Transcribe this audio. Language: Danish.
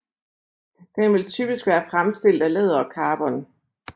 Den vil typisk være fremstillet af læder og carbon